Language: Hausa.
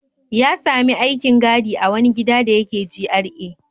Ya sami aikin gadi a wani gida da yake GRA.